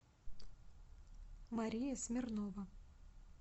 мария смирнова